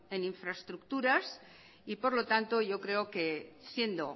en infraestructuras por lo tanto yo creo que siendo